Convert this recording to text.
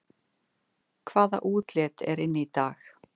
Hvaða útlit er inn í dag